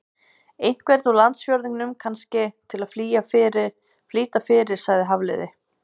Einhvern úr landsfjórðungnum, kannski, til að flýta fyrir sagði Hafliði.